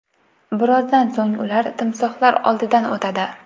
Birozdan so‘ng ular timsohlar oldidan o‘tadi.